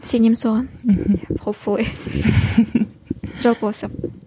сенемін соған мхм жалпы осы